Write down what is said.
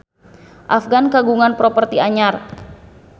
Afgan kagungan properti anyar